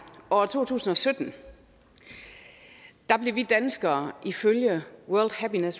og år to tusind og sytten blev vi danskere ifølge